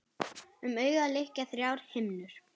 Um augað lykja þrjár himnur.